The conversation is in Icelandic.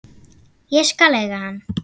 Ég skal eiga hann.